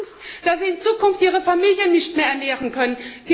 Sie haben Angst, dass sie in Zukunft ihre Familien nicht mehr ernähren können.